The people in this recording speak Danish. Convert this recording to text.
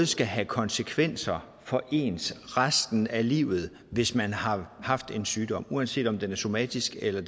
skal have konsekvenser for en resten af livet hvis man har haft en sygdom uanset om den er somatisk eller